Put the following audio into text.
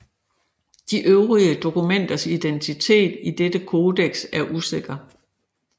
De øvrige dokumenters identitet i dette codex er usikker